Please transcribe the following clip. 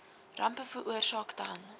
rampe veroorsaak dan